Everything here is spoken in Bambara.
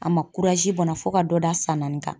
A ma bɔn na fo ka dɔ d'a san naani kan.